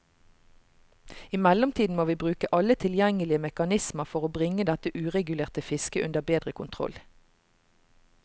I mellomtiden må vi bruke alle tilgjengelige mekanismer for bringe dette uregulerte fisket under bedre kontroll.